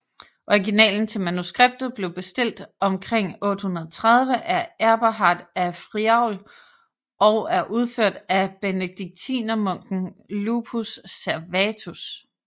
Originalen til manuskriptet blev bestilt omkring 830 af Eberhard af Friaul og er udført af benediktinermunken Lupus Servatus